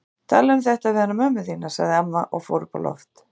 Talaðu um þetta við hana mömmu þína, sagði amma og fór upp á loft.